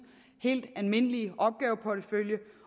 helt almindelige opgaveportefølje